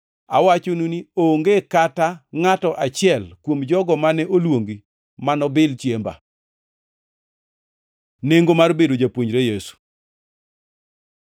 Awachonu ni, onge kata ngʼato achiel kuom jogo mane oluongi manobil chiemba.’ ” Nengo mar bedo japuonjre Yesu